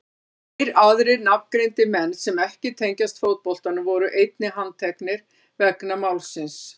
Tveir aðrir nafngreindir menn sem ekki tengjast fótboltanum voru einnig handteknir vegna málsins.